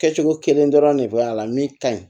Kɛcogo kelen dɔrɔn de bɛ a la min ka ɲi